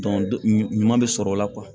ɲuman bɛ sɔrɔ o la